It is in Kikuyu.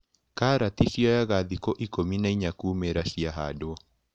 Karati cioyaga thikũ ikũmi na inya kuumĩra ciahandwo.